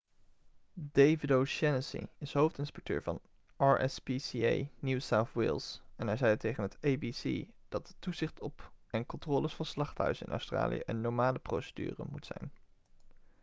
david o'shannessy is hoofdinspecteur van rspca new south wales en hij zei tegen het abc dat toezicht op en controles van slachthuizen in australië een normale procedure moet zijn